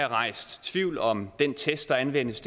rejst tvivl om den test der anvendes